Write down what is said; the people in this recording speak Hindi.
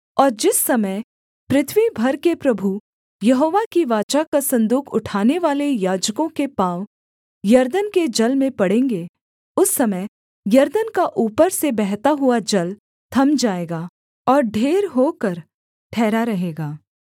और जिस समय पृथ्वी भर के प्रभु यहोवा की वाचा का सन्दूक उठानेवाले याजकों के पाँव यरदन के जल में पड़ेंगे उस समय यरदन का ऊपर से बहता हुआ जल थम जाएगा और ढेर होकर ठहरा रहेगा